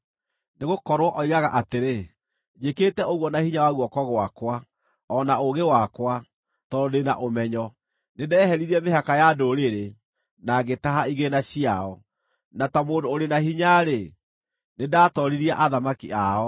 Nĩgũkorwo oigaga atĩrĩ: “ ‘Njĩkĩte ũguo na hinya wa guoko gwakwa, o na ũũgĩ wakwa, tondũ ndĩ na ũmenyo. Nĩndeheririe mĩhaka ya ndũrĩrĩ, na ngĩtaha igĩĩna ciao, na ta mũndũ ũrĩ na hinya-rĩ, nĩndatooririe athamaki ao.